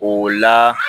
O la